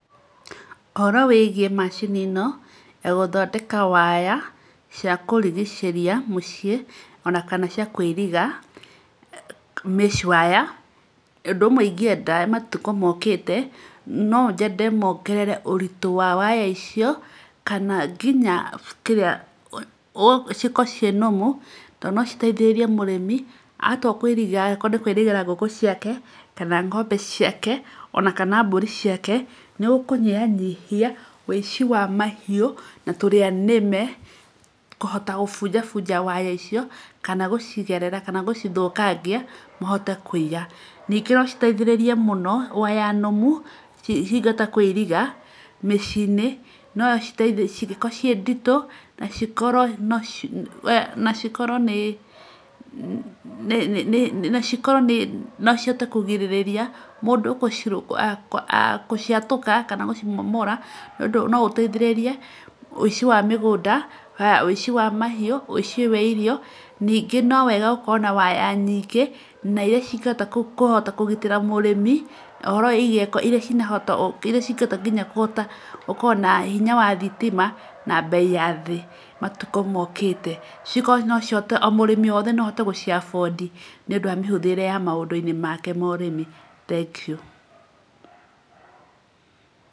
Ũhoro wĩgiĩ macini ĩno ya gũthondeka waya cia kũrigicĩria mũciĩ ona kana cia kũiriga mesh wire ũndũ ũmwe ingĩenda matukũ mokĩte, no nyende mongerere ũritũ wa waya icio kana nginya kĩrĩa cikorwo ciĩ normal tondũ no citeithĩrĩrie mũrimi atua kũiriga angĩkorwo nĩ kũirigĩra ngũkũ ciake, ng'ombe ciake ona kana mbũri ciake. Nĩ gũkũnyihanyihia ũici wa mahiũ na tũrĩa nĩme kũhota kũbunjabunja waya icio, kana gũcigerera kana gũcithũkagia mahote kũia. Ningĩ no citeithĩrĩrie mũno waya nũmu cingĩhota kũiriga mĩciĩ-inĩ cingĩkorwo ciĩ nditũ na cikorwo nĩ no cihote kũgirĩrĩria mũndũ gũciatũka kana gũcimomora, nĩ ũndũ no ũteithĩrĩrie ũici wa mahiũ, ũici wa irio. Ningĩ no wega gũkorwo na waya nyingĩ na irĩa cingĩhota kũhota kũgitĩra mũrĩmi ũhoro wĩgiĩ irĩa cingĩhota nginya kũhota gũkorwo na hinya wa thitima na mbei ya thĩ matukũ mokĩte. Cikorwo no cihote o mũrĩmi wothe no ahote gũci afford nĩ ũndũ wa mĩhũthĩre ya maũndũ make ma ũrĩmi. Thengiũ.